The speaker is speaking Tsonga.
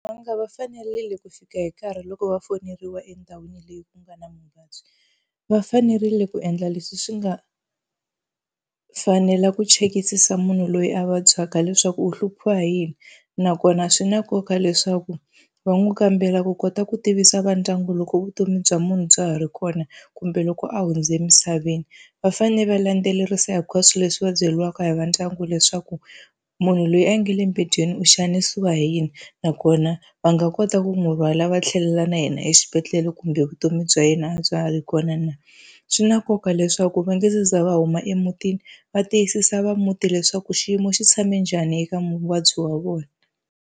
Va fanerile ku fika hi nkarhi loko va foneliwa endhawini leyi ku nga na mavabyi, va fanerile ku endla leswi swi nga fanela ku chekisisa munhu loyi a vabyaka leswaku u hluphiwa hi yini. Nakona swi na nkoka leswaku va n'wi kambela ku kota ku tivisa va ndyangu loko vutomi bya munhu bya ha ri kona kumbe loko a hundze emisaveni. Va fanele va landzelerisa hinkwaswo leswi va byeriwaka hi va ndyangu leswaku munhu loyi a nga le mbedweni u xanisiwa hi yini, nakona va nga kota ku n'wi rhwala va tlhelela na yena exibedhlele kumbe vutomi bya yena a bya ha ri kona na. Swi na nkoka leswaku va nga za va huma emutini va tiyisisa va muti leswaku xiyimo xi tshame njhani eka muvabyi wa vona.